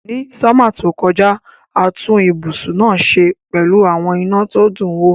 Ni summer tó kojá, a tun ibùsùn náà se pẹ́lu àwon iná to dun wo